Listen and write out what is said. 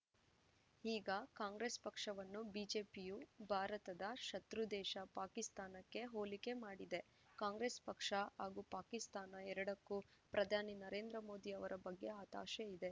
ಈಗ ಕಾಂಗ್ರೆಸ್‌ ಪಕ್ಷವನ್ನು ಬಿಜೆಪಿಯು ಭಾರತದ ಶತ್ರುದೇಶ ಪಾಕಿಸ್ತಾನಕ್ಕೆ ಹೋಲಿಕೆ ಮಾಡಿದೆ ಕಾಂಗ್ರೆಸ್‌ ಪಕ್ಷ ಹಾಗೂ ಪಾಕಿಸ್ತಾನ ಎರಡಕ್ಕೂ ಪ್ರಧಾನಿ ನರೇಂದ್ರ ಮೋದಿ ಅವರ ಬಗ್ಗೆ ಹತಾಶೆ ಇದೆ